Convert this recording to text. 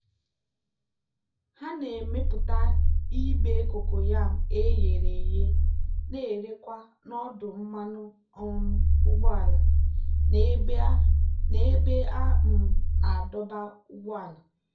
ha na-emepụta ibe kokoyam e ghere eghe na-erekwa n'ọdụ mmanụ um ụgbọala na ebe a um na-adọba ụgbọala.